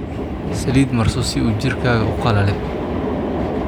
Saliid marso sii u jirkaga uu qalalin